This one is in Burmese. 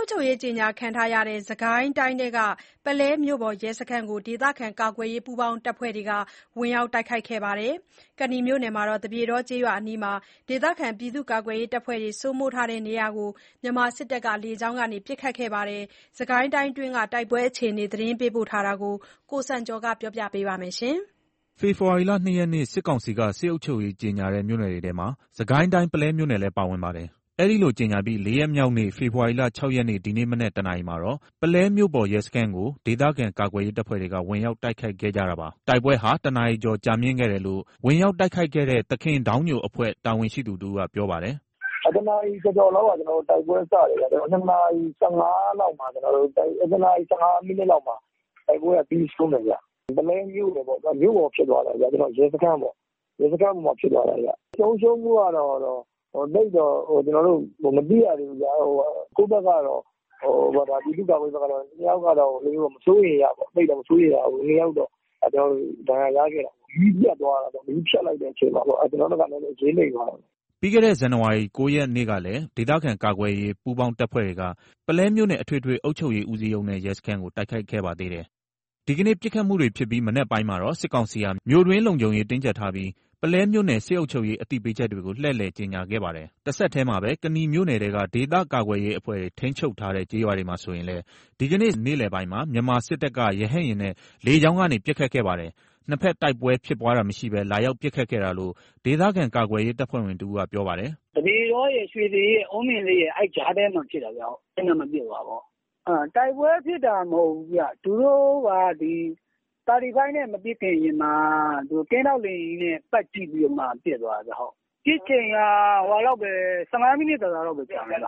ုပ်ချုပ်ရေး ကြေငြာခံထားရတဲ့ စစ်ကိုင်းတိုင်း၊ ပုလဲမြို့ပေါ် ရဲစခန်းကို ဒေသခံကာကွယ်ရေး ပူးပေါင်းတပ်ဖွဲ့တွေက ဝင်ရောက်တိုက်ခိုက်ခဲ့ပါတယ်။ ကနီမြို့ သပြေတော ကျေးရွာအနီး ဒေသကာကွယ်ရေးအဖွဲ့တွေ စိုးမိုးရာနေရာကိုတော့ မြန်မာစစ်တပ်က လေကြောင်းက ပစ်ခတ်ခဲ့ပါတယ်။ စစ်ကိုင်းတိုင်းအတွင်း တိုက်ပွဲအခြေအနေ သတင်းပေးပို့ချက်ကို ကိုစံကျော်က ပြောပြပါမယ်။ ဖေဖော်ဝါရီလ ၂ ရက်နေ့မှာ စစ်ကောင်စီက စစ်အုပ်ချုပ်ရေးကြေညာတဲ့ မြို့နယ်တွေထဲမှာ စစ်ကိုင်းတိုင်း ပုလဲမြို့နယ်လည်းပါဝင်ပါတယ်။ အဲလို ကြေညာပြီး လေးရက်မြောက်နေ့ ဖေဖော်ဝါရီလ ၆ ရက်နေ ဒီနေ့ မနက် တနာရီမှာတော့ ပုလဲမြို့ပေါ် ရဲစခန်းကို ဒေသခံကာကွယ်ရေး တပ်ဖွဲ့တွေက ဝင်ရောက်တိုက်ခိုက်ခဲ့ကြတာပါ။ တိုက်ပွဲဟာ တနာရီကျော်ကြာမြင့်ခဲ့တယ်လို့ ဝင်ရောက်တိုက်ခိုက်တဲ့ သခင်ဒေါင်းညိုအဖွဲ့ တာဝန်ရှိသူတဦးက ပြောပါတယ်။ “၁ နာရီကျော်ကျော်လောက်က တိုက်ပွဲစတယ်။ ၂ နာရီ ၁၅ မိနစ်လောက်မှာ တိုက်ပွဲက ပြီးဆုံးတယ်။ ပုလဲမြို့ပေါ်ပေါ့ မြို့ပေါ်ဖြစ်သွားတာ ရဲစခန်းပေါ့ ရဲစခန်းမှာ ဖြစ်သွားတာ။ ဆုံးရှုံးမှုကတော့ သိပ်တော့ မသိရသေးဘူး။ ကိုယ့်ဘက်ကတော့ ပြည်သူ့ကာကွယ်ရေးဘက်ကတော့ ၂ ယောက်က မစိုးရိမ်ရ ဒဏ်ရာရခဲ့တယ်။ မီးပြတ်သွားတာပေါ့ မီးဖြတ်လိုက်တဲ့အချိန်မှာ ကျွန်တော်တို့ဘက်က နည်းနည်း အရေးနိမ့်သွားတာ။” ပြီးခဲ့တဲ့ ဇန်နဝါရီ ၉ ရက်ကလည်း ဒေသခံကာကွယ်ရေး ပူးပေါင်းတပ်ဖွဲ့တွေက ပုလဲမြို့နယ် အထွေထွေအုပ်ချုပ်ရေးဦးစီးရုံးနဲ့ ရဲစခန်းကို တိုက်ခိုက်ခဲ့ပါသေးတယ်။ ဒီကနေ့ ပစ်ခတ်မှုတွေဖြစ်ပြီး မနက်ပိုင်းမှာတော့ စစ်ကောင်စီဟာ မြို့တွင်းလုံခြုံရေး တင်းကြပ်ထားပြီး၊ ပုလဲမြို့နယ် စစ်အုပ်ချုပ်ရေး အသိပေးချက်တွေကို လှည့်လည် ကြေငြာခဲ့ပါတယ်။ တဆက်တည်းမှာပဲ ကနီမြို့နယ်ထဲက ဒေသကာကွယ်ရေးအဖွဲ့တွေ ထိန်းချုပ်ထားတဲ့ကျေးရွာတွေမှာဆိုရင်လည်း ဒီကနေ့ ဖေဖော်ဝါရီ ၆ ရက် နေ့လည်ပိုင်းမှာ မြန်မာစစ်တပ်က ရဟတ်ယာဉ်နဲ့ လေကြောင်းကနေ ပစ်ခတ်ခဲ့တယ်။ နှစ်ဖက်တိုက်ပွဲဖြစ်ပွားတာ မရှိဘဲ လာရောက်ပစ်ခတ်ခဲ့တာလို့ ဒေသခံကာကွယ်ရေးတပ်ဖွဲ့ဝင်တဦးက ပြောပါတယ်။ “သပြေတောရယ် ရွှေရင်အေးရယ် အုန်းပင်ဆိပ်ရယ် အဲ့ကြားထဲမှာ ပစ်တာ။ အဲ့နားမှာပစ်တာ။ တိုက်ပွဲဖြစ်တာ မဟုတ်ဘူး သူတို့က Mi35 နဲ့ မပစ်ခင်မှာ ကင်းထောက် လေယာဉ်နဲ့ ပတ်ကြည့်ပြီးမှ ပစ်တာ။ ပစ်ချိန်က ၁၅ မိနစ် သာသာလောက်ကြာတယ်